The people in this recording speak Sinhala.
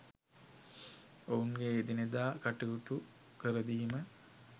ඔවුන්ගේ එදිනෙදා කටයුතු කරදීම